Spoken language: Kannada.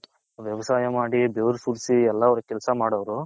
ವ್ಯವಸಾಯ ಮಾಡಿ ಬೆವರು ಸುರುಸಿ ಎಲ್ಲಾ ಅವರು ಕೆಲೆಸ ಮಾಡೋರು.